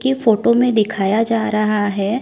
की फोटो में दिखाया जा रहा है।